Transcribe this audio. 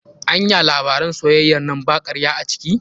Anya labaran soyayyan nan ba karya a ciki?